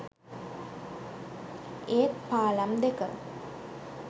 ඒත් පාලම් දෙක